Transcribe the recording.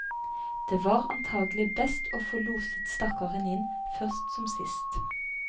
Det var antagelig best å få loset stakkaren inn, først som sist.